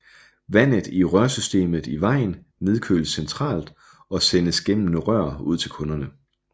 Vandet i rørsystemet i vejen nedkøles centralt og sendes gennem rør ud til kunderne